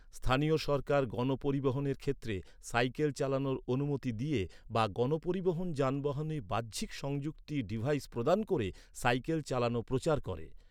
স্থানীয় সরকার গণপরিবহনের ক্ষেত্রে সাইকেল চালানোর অনুমতি দিয়ে বা গণপরিবহন যানবাহনে বাহ্যিক সংযুক্তি ডিভাইস প্রদান করে সাইকেল চালানো প্রচার করে।